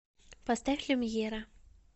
поставь люмьера